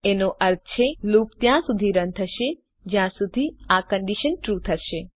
એનો અર્થ છે લૂપ ત્યાં સુધી રન થશે જ્યાં સુધી આ કન્ડીશન ટ્રૂ થશે